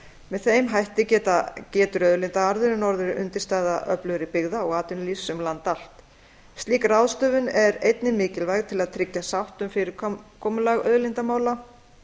með þeim hætti getur auðlindaarðurinn orðið undirstaða öflugri byggða og atvinnulífs um land allt slík ráðstöfun er einnig mikilvæg til að tryggja sátt um fyrirkomulag auðlindamála